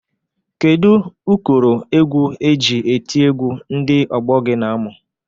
Kedu ụkọrọ egwu e ji eti egwu ndị ọgbọ gị na-amụ?